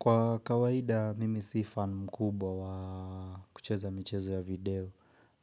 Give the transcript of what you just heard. Kwa kawaida mimi si fan mkubwa wa kucheza michezo ya video.